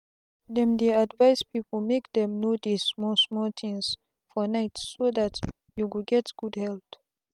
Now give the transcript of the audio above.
them dey advise people make them no dey small small things for night so that you get good health.